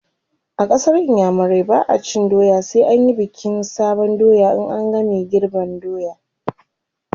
a ƙasar iyamurai ba'a cin doya sai an Yi bikin sabon doya in an game girban doya